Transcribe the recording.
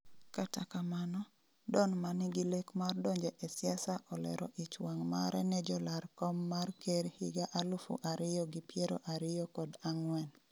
kata kamano, Don manigi lek mar donjo e siasa olero ich wang' mare ne jolar kom mar ker higa alufu ariyo gi piero ariyo kod ang'wen